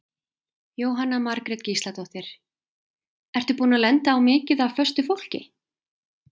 Jóhanna Margrét Gísladóttir: Ertu búinn að lenda á mikið af föstu fólki?